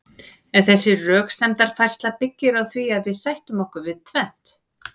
en þessi röksemdafærsla byggir á því að við sættum okkur við tvennt